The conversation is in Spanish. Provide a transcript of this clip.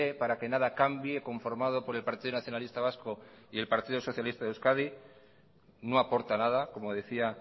para que nada cambie conformado por el partido nacionalista vasco y el partido socialista de euskadi no aporta nada como decía